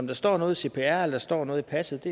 der står i cpr eller står i passet